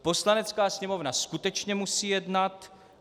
Poslanecká sněmovna skutečně musí jednat.